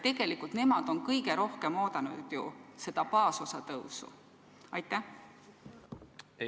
Tegelikult on nemad kõige rohkem seda baasosa tõusu oodanud.